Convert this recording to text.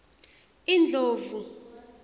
indlovu